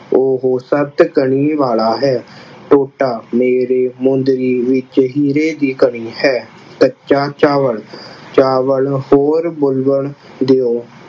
ਉਹ ਸੱਤ ਕਣੀ ਵਾਲਾ ਹੈ। ਟੋਟਾ ਮੇਰੀ ਮੁੰਦਰੀ ਵਿੱਚ ਹੀਰੇ ਦੀ ਕਣੀ ਹੈ। ਕੱਚਾ ਚਾਵਲ ਚਾਵਲ ਹੋਰ ਬਣਨ ਦਿਉ।